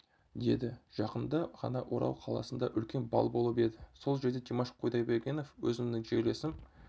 деді жақында ғана орал қаласында үлкен бал болып еді сол жерде димаш құдайбергенов өзімнің жерлесім